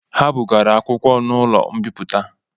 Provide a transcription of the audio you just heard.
Ha bugara akwụkwọ n'ụlọ mbipụta